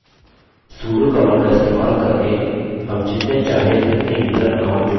sudo command का इस्तेमाल करके हम जितने चाहे उतने यूज़र account जोड़ सकते हैं